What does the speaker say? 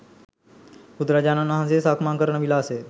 බුදු රජාණන් වහන්සේ සක්මන් කරන විලාසය